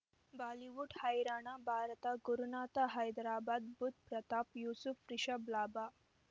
Bollywood ಹೈರಾಣ ಭಾರತ ಗುರುನಾಥ ಹೈದರಾಬಾದ್ ಬುಧ್ ಪ್ರತಾಪ್ ಯೂಸುಫ್ ರಿಷಬ್ ಲಾಭ